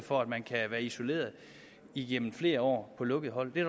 for at man kan være isoleret igennem flere år på lukkede hold det er